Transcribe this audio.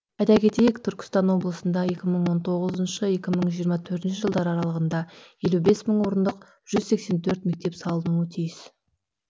айта кетейік түркістан облысында екі мың он тоғыз екі мың жиырма төртінші жылдар аралығында елу бес мың орындық жүз сексен төрт мектеп салынуы тиіс